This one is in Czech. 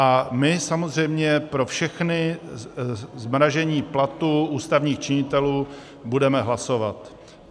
A my samozřejmě pro všechna zmražení platů ústavních činitelů budeme hlasovat.